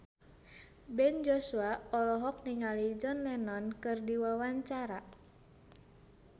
Ben Joshua olohok ningali John Lennon keur diwawancara